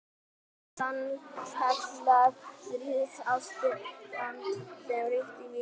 Það var sannkallað stríðsástand sem ríkti í Víkinni.